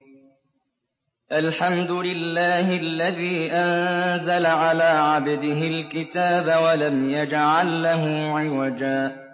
الْحَمْدُ لِلَّهِ الَّذِي أَنزَلَ عَلَىٰ عَبْدِهِ الْكِتَابَ وَلَمْ يَجْعَل لَّهُ عِوَجًا ۜ